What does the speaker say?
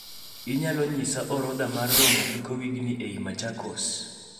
Inyalo nyisa orodha mar romo giko wigni eiy machakos